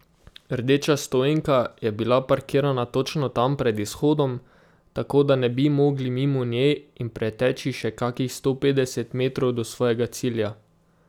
Rdeča stoenka je bila parkirana točno tam, pred izhodom, tako da ne bi mogli mimo nje in preteči še kakih sto petdeset metrov do svojega cilja.